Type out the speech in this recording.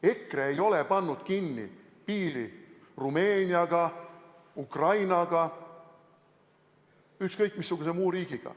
EKRE ei ole pannud kinni piiri Rumeeniaga, Ukrainaga, ükskõik missuguse muu riigiga.